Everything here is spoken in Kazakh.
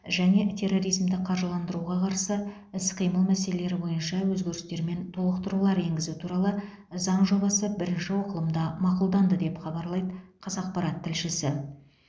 және терроризмді қаржыландыруға қарсы іс қимыл мәселелері бойынша өзгерістер мен толықтырулар енгізу туралы заң жобасы бірінші оқылымда мақұлданды деп хабарлайды қазақпарат тілшісі